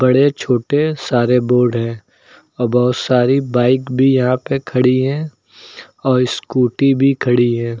बड़े छोटे सारे बोर्ड हैं आ बहोत सारे बाइक भी यहां पर खड़ी है और स्कूटी भी खड़ी है।